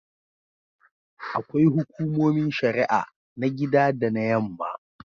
Akwai Hukumomin Shari'a na gida da na Yamma.